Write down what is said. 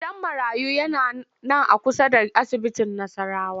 Gidan marayu yana nan a kusa da asibitin Nassarawa